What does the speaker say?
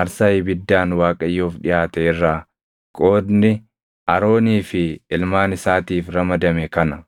aarsaa ibiddaan Waaqayyoof dhiʼaate irraa qoodni Aroonii fi ilmaan isaatiif ramadame kana.